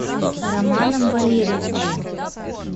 романом валерьевичем